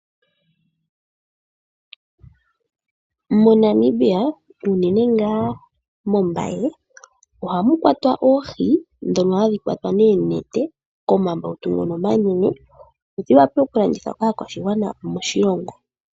MoNamibia unene ngaa mOmbaye, ohamu kwatwa oohi ndhono hadhi kwatwa noonete komambautu ngoka omanene. Dhi wape okulandithwa kaakwashigwana moshilongo.